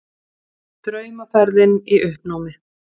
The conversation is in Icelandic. Draumaferðin í uppnámi